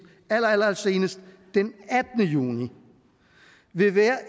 allersenest den attende juni vil være